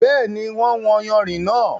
Bẹ́ẹ̀ni, wọ́n wọn yànrin náà.